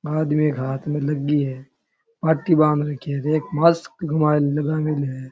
आदमी के हाथ में लगी है पट्टी बांध रखी है देख मास्क लगा मेळो है।